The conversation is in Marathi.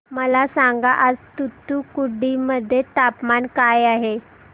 मला सांगा आज तूतुकुडी मध्ये तापमान काय आहे